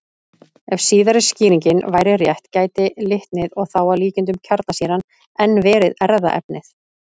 Ef síðari skýringin væri rétt gæti litnið, og þá að líkindum kjarnsýran, enn verið erfðaefnið.